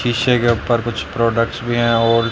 शीशे के ऊपर कुछ प्रोडक्ट्स भी है और--